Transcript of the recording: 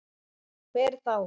Hver þá?